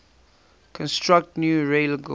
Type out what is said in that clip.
construct new railgauge